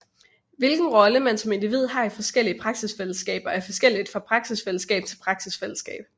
Hvilken rolle man som individ har i forskellige praksisfællesskaber er forskelligt fra praksisfællesskab til praksisfællesskab